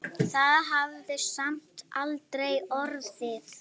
Það hafði samt aldrei orðið.